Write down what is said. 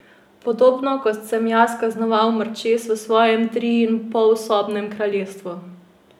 Podobno kot sem jaz kaznoval mrčes v svojem triinpolsobnem kraljestvu.